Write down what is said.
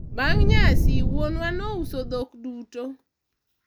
bang' nyasi, wuonwa nouso dhok duto